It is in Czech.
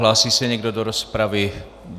Hlásí se někdo do rozpravy?